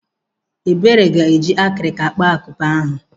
Ebere ga-eji akirika kpaa akupe ahụ.